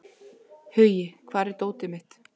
Hugi, hvar er dótið mitt?